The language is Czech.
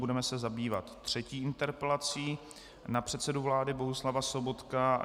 Budeme se zabývat třetí interpelací na předsedu vlády Bohuslava Sobotku.